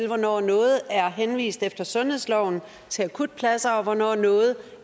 hvornår noget er henvist efter sundhedsloven til akutpladser og hvornår noget